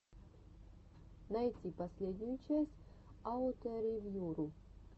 найти последнюю часть ауторевьюру